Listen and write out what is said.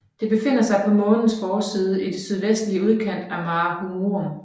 Det befinder sig på Månens forside i den sydvestlige udkant af Mare Humorum